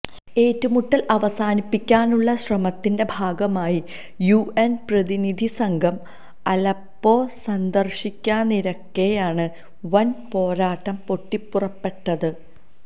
ഏറ്റുമുട്ടല് അവസാനിപ്പിക്കാനുള്ള ശ്രമത്തിന്റെ ഭാഗമായി യു എന് പ്രതിനിധി സംഘം അലപ്പോ സന്ദര്ശിക്കാനിരിക്കെയാണ് വന് പോരാട്ടം പൊട്ടിപ്പുറപ്പെട്ടത്